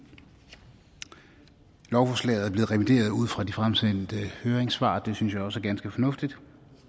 i lovforslaget er blevet revideret ud fra de fremsendte høringssvar og det synes vi også er ganske fornuftigt